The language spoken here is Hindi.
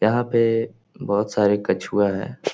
यहाँ पे बहुत सारे कछुए हैं।